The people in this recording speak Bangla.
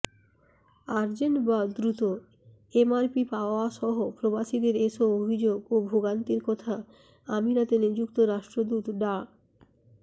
আর্জেন্ট বা দ্রুত এমআরপি পাওয়াসহ প্রবাসীদের এসব অভিযোগ ও ভোগান্তির কথা আমিরাতে নিযুক্ত রাষ্ট্রদূত ডা